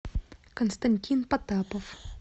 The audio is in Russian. константин потапов